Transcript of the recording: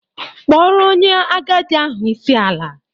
Kpọrọ onye agadi ahụ isi ala!